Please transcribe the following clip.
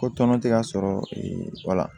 Ko tɔnɔ tɛ ka sɔrɔ wala